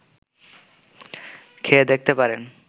খেয়ে দেখতে পারেন